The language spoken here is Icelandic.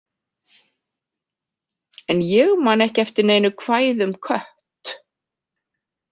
En ég man ekki eftir neinu kvæði um kött.